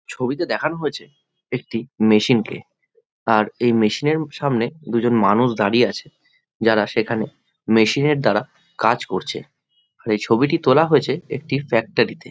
ছবিতে দেখানো হয়েছে একটি মেশিন কে আর এই মেশিন এর সামনে দুজন মানুষ দাঁড়িয়ে আছে যারা সেখানে মেশিন এর দ্বারা কাজ করছে আর এই ছবিটি তোলা হয়েছে একটি ফ্যাক্টরি তে।